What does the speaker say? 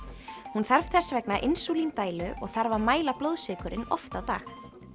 hún þarf þess vegna og þarf að mæla blóðsykurinn oft á dag